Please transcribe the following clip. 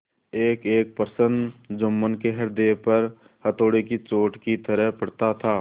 एकएक प्रश्न जुम्मन के हृदय पर हथौड़े की चोट की तरह पड़ता था